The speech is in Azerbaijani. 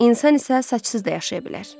İnsan isə saçsız da yaşaya bilər.